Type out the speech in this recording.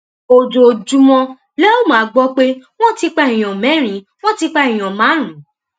ojoojúmọ lẹ óò máa gbọ pé wọn ti pa èèyàn mẹrin wọn ti pa èèyàn márùnún